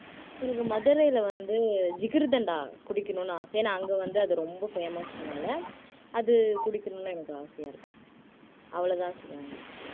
எனக்கு மதுரையில வந்து ஜிகர்தண்டா குடிக்கணும்னு ஆசை ஏன்னா அங்க வந்து அது ரொம்ப famous னால அது குடிக்கணும்ன்னு எனக்கு ஆசையா இருக்கு அவ்வளவுதான் ஷிவாங்கி